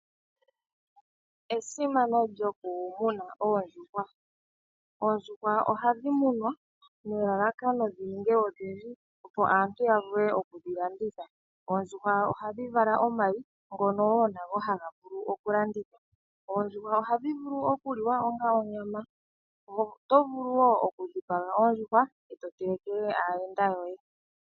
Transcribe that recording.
Esimano lyokumuna oondjuhwa, oondjuhwa ohadhi munwa nelalakano dhininge odhindji opo aantu yavule okudhi landitha, oondjuhwa ohadhi vala omayi ngono woo nago haga vulu okulandithwa, oondjuhwa ohadhi vulu okuliwa onga onyama, oto vulu woo okudhipaga ondjuhwa eto telekele aayenda yoye.